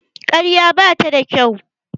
Ƙarya bata da kyau.